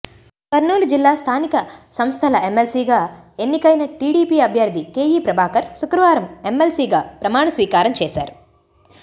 కర్నూలు జిల్లా స్థానిక సంస్థల ఎమ్మెల్సీగా ఎన్నికైన టీడీపీ అభ్యర్థి కేఈ ప్రభాకర్ శుక్రవారం ఎమ్మెల్సీగా ప్రమాణస్వీకారం చేశారు